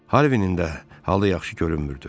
Harvinin də halı yaxşı görünmürdü.